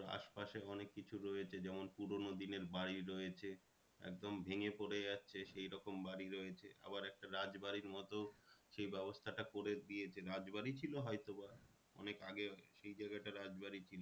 আশপাশে অনেক কিছু রয়েছে যেমন পুরোনো দিনের বাড়ি রয়েছে। একদম ভেঙে পরে গেছে সেই রকম বাড়ি রয়েছে। আবার একটা রাজবাড়ির মতো সেই ব্যবস্থাটা করে দিয়েছে রাজবাড়ি ছিল হয়তোবা অনেক আগে সেই জায়গাটা রাজবাড়ি ছিল।